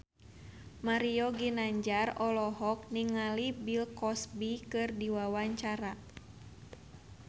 Mario Ginanjar olohok ningali Bill Cosby keur diwawancara